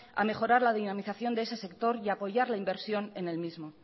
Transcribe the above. a mejorar la dinamización de ese sector y apoyar la inversión en el mismo